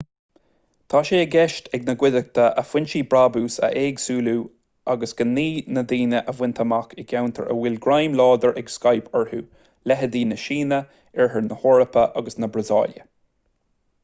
tá sé i gceist ag an gcuideachta a foinsí brabúis a éagsúlú agus gnaoi na ndaoine a bhaint amach i gceantair a bhfuil greim láidir ag skype orthu leithéidí na síne oirthear na heorpa agus na brasaíle